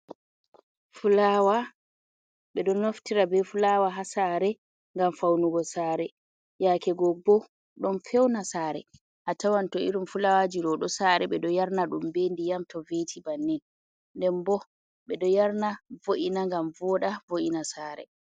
Fulaawa ɓeɗo naftira be fulaawa ha saare ngam faunugo saare yake go bo ɗon feuna sare a tawan to irin fulaawaji ɗo sare ɓe ɗo yarna ɗum be ndiyam to veti bannin. Nden bo ɓe ɗo yarna vo’ina ngam voɗa vo’ina saare.